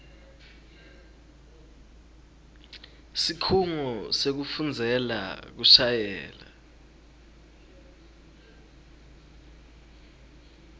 sikhungo sekufundzela kushayela